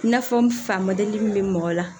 I n'a fɔ n fa mɔdɛli min be mɔgɔ la